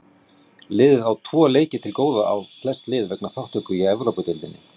Liðið á þó tvo leiki til góða á flest lið vegna þátttöku í Evrópudeildinni.